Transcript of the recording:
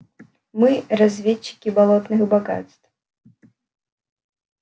мы разведчики болотных богатств